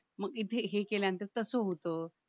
मी इथे हे केल्यानंतर तसं होतं